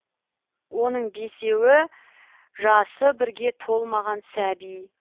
оның бесеуі жасы бірге толмаған сәби